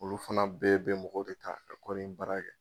Olu fana bɛɛ bɛɛ mɔgɔw bɛ k'a ka kɔɔri in baara kɛ.